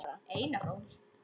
Einar Ól.